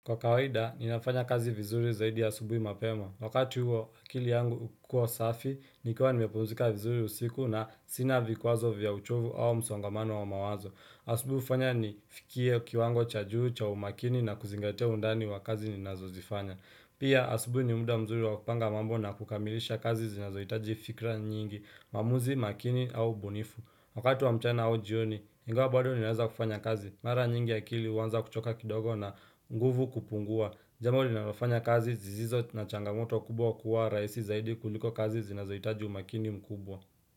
Kwa kawaida, ninafanya kazi vizuri zaidi ya asubuhi mapema. Wakati huo akili yangu hukua safi, nikua nimepumzika vizuri usiku na sina vikwazo vya uchovu au msongamano wa mawazo. Asubuhi hufanya ni fikie kiwango cha juu cha umakini na kuzingatia undani wa kazi ninazo zifanya. Pia, asubuhi ni muda mzuri wa kupanga mambo na kukamilisha kazi zinazo hitaji fikra nyingi, maamuzi, makini au ubunifu. Wakati wa mchana au jioni, ingawa baado ninaweza kufanya kazi. Mara nyingi akili huanza kuchoka kidogo na nguvu kupungua. Jambo linalofanya kazi zizizo na changamoto kubwa kuwa rahisi zaidi kuliko kazi zinazohitaji umakini mkubwa.